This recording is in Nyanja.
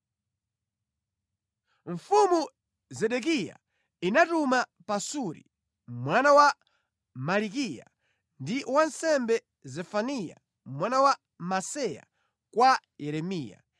Mfumu Zedekiya inatuma Pasuri mwana wa Malikiya ndi wansembe Zefaniya mwana wa Maseya kwa Yeremiya.